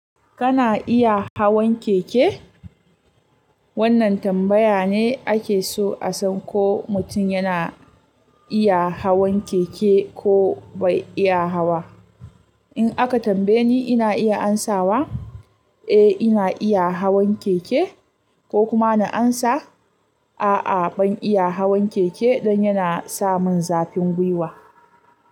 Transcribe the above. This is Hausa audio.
Kana iya hawan keke? Wannan tambaya ne ake so a san ko mutum yana iya hawan keke ko bai iya hawa. In aka tambaye ni, ina iya ansawa, "Eh ina iya hawan keke" ko kuma na ansa, "A'a ban iya hawan keke" don yana sa mun zafin gwiwa.